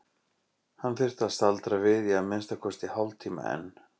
Hann þyrfti að staldra við í að minnsta kosti hálftíma enn.